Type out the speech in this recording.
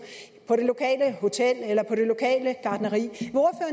på det lokale hotel eller på det lokale gartneri